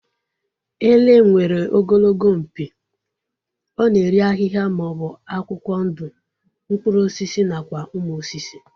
Ele nwere ogologo mpi, ọ na-eri ahịhịa maọbụ akwụkwọ ndụ, mkpụrụ osisi nakwa ụmụ osisi